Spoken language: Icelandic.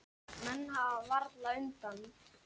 Menn hafa varla undan.